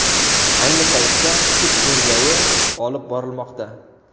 Ayni paytda sud tergovi olib borilmoqda.